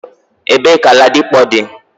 Ebe ka ladipo di?